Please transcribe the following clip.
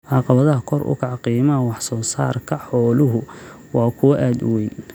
Caqabadaha kor u kaca qiimaha wax soo saarka xooluhu waa kuwo aad u weyn.